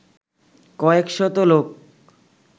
কয়েকশত লোক